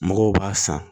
Mɔgɔw b'a san